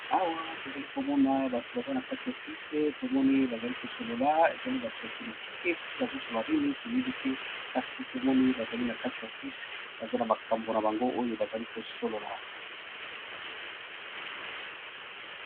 Awa tozali komona bato bazali na kati ya offise tomoni, bazali kosolola ezali bato ya politike soki bazosolola ,nini toyebi te kasi tomoni bazali na kati ya office baza na makambo na bango oyo bazali kosolola.